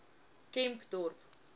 kempdorp